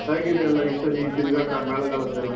ಹ್ಯಾಗಿದೆ ಎಲ್ಲ ಈಸರಿ ತಿರ್ಗಾಟ ಮೇಳಗಳದ್ದೆಲ್ಲಾ?